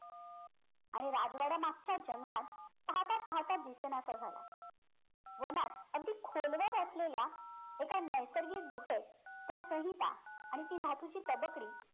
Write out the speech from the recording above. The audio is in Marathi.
आणि राजवाड्या मागच्या जंगलात पाहता पाहता दिसेनासा झाला वनात अगदी खोलवर असलेल्या एका नैसर्गिक गुहेत त्या संहिता आणि ती धातूची तबकडी